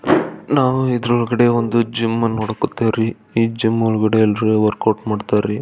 ನಾವು ಇದ್ರೊಳಗಡೆ ಒಂದು ಜಿಮ್ ನೋಡಕ್ ಕುತ್ತವರಿ ಈ ಜಿಮ್ ಒಳಗಡೆ ಎಲ್ಲರು ವರ್ಕೌಟ್ ಮಾಡತ್ತರಿ.